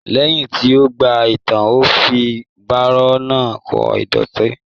Lẹyìn tí o gbàlẹ tán, o fí baro náà kò ìdọ̀tí.